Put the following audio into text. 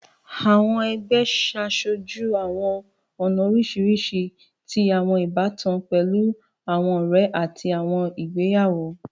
Àwọn ẹgbẹ ṣe aṣoju àwọn ọna oriṣiriṣi ti àwọn ibatan, pẹlu àwọn ọrẹ ati àwọn igbeyawo.